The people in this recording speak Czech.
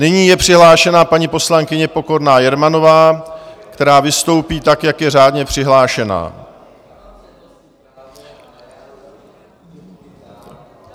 Nyní je přihlášena paní poslankyně Pokorná Jermanová, která vystoupí tak, jak je řádně přihlášena.